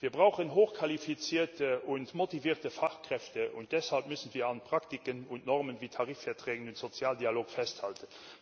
Wir brauchen hochqualifizierte und motivierte Fachkräfte, und deshalb müssen wir an Praktiken und Normen wie Tarifverträgen und dem sozialen Dialog festhalten.